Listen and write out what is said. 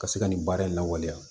Ka se ka nin baara in lawaleya